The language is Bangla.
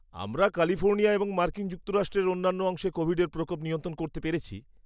আমরা ক্যালিফোর্নিয়া এবং মার্কিন যুক্তরাষ্ট্রের অন্যান্য অংশে কোভিডের প্রকোপ নিয়ন্ত্রণ করতে পেরেছি।